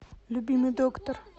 любимый доктор